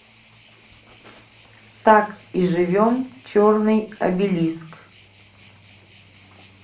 так и живем черный обелиск